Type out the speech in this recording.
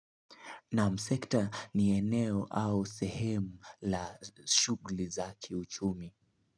Nam sekta ni eneo au sehemu la shughuli za kiuchumi.